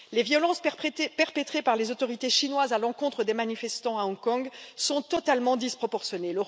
Les violences perpétrées par les autorités chinoises à l'encontre des manifestants à Hong Kong sont totalement disproportionnées.